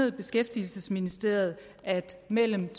i beskæftigelsesministeriet er at mellem